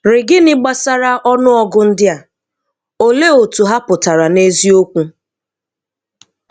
RGínị gbasara ọnụọgụ ndị a, òlee otú ha pụtara n’eziokwu?